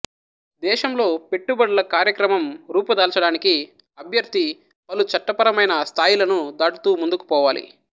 దేశంలో పెట్టుబడుల కార్యక్రమం రూపుదాల్చడానికి అభ్యర్థి పలు చట్టపరమైన స్థాయిలను దాటుతూ ముందుకు పోవాలి